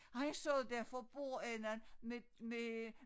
Han sad der for bordenden med med